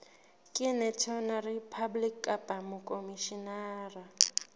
ke notary public kapa mokhomishenara